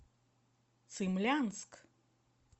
цимлянск